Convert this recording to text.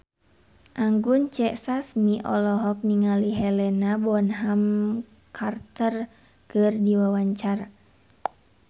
Anggun C. Sasmi olohok ningali Helena Bonham Carter keur diwawancara